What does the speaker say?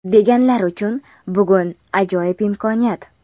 deganlar uchun bugun ajoyib imkoniyat!.